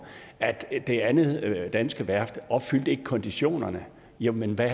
at det andet danske værft opfyldte konditionerne jo men hvad